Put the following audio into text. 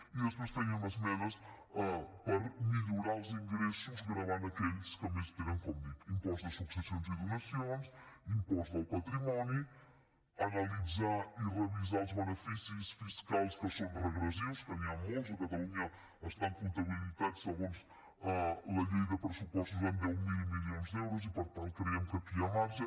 i després teníem esmenes per millorar els ingressos gravant aquells que més tenen com dic impost de successions i donacions impost del patrimoni analitzar i revisar els beneficis fiscals que són regressius que n’hi han molts a catalunya estan comptabilitzats segons la llei de pressupostos en deu mil milions d’euros i per tant creiem que aquí hi ha marge